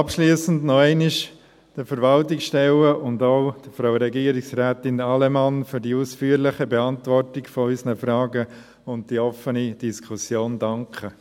Abschliessend möchte ich den Verwaltungsstellen und auch Frau Regierungsrätin Allemann noch einmal für die ausführliche Beantwortung unserer Fragen und die offene Diskussion danken.